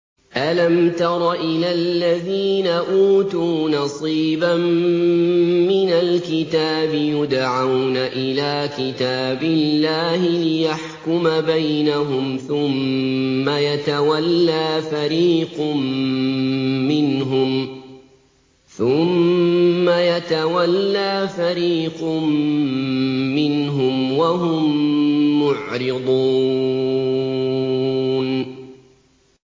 أَلَمْ تَرَ إِلَى الَّذِينَ أُوتُوا نَصِيبًا مِّنَ الْكِتَابِ يُدْعَوْنَ إِلَىٰ كِتَابِ اللَّهِ لِيَحْكُمَ بَيْنَهُمْ ثُمَّ يَتَوَلَّىٰ فَرِيقٌ مِّنْهُمْ وَهُم مُّعْرِضُونَ